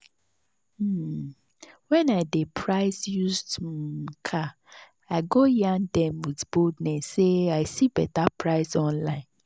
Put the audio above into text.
um when i dey price used um car i go yarn them with boldness say i see better price online.